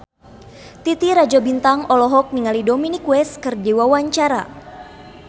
Titi Rajo Bintang olohok ningali Dominic West keur diwawancara